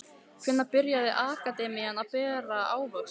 Hvenær byrjar akademían að bera ávöxt?